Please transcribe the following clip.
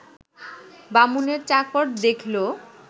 বামুনের চাকর দেখল